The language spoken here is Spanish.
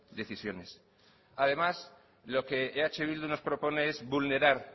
decisiones además lo que eh bildu nos propone es vulnerar